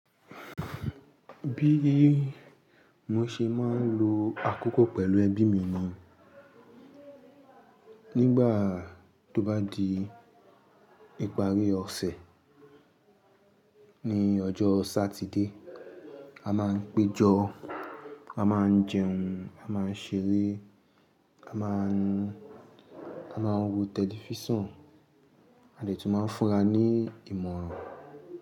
Bí mo ṣe máa ń lo àkókò pẹ̀lú ẹbí mi ni nígbà tó bá di ìparí ọ̀sẹ̀ ní ọjọ́ Sátidé, a máa ń péjọ, a máa ń jẹun, a máa ń ṣeré, a máa ń, a máa ń wo tẹlifíṣàn, a lè tún máa ń fúnra ní ìmọ̀ràn.